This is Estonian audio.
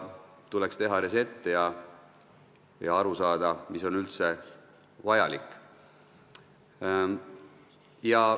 Tuleks teha reset ja püüda aru saada, mis on üldse vajalik.